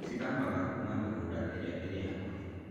Cithamaga kuuma mĩgũnda ĩrĩa ĩrĩ hakuhĩ.